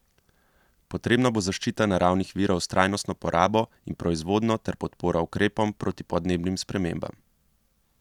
Potrebna bo zaščita naravnih virov s trajnostno porabo in proizvodnjo ter podpora ukrepom proti podnebnim spremembam.